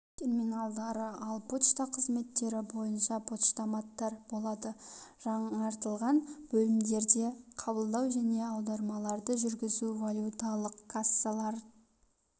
терминалдары ал почта қызметтері бойынша поштаматтар болады жаңғыртылған бөлімдерде қабылдау және аудармаларды жүргізу валюталық кассалары